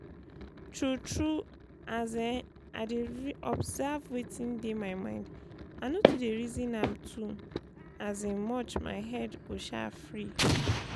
true true as um i dey observe wetin dey my mind i no too dey reasom am too um much my head go um free